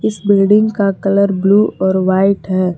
इस बिल्डिंग का colour blue और वाइट है।